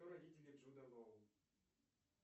кто родители джуда лоу